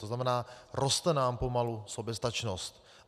To znamená, roste nám pomalu soběstačnost.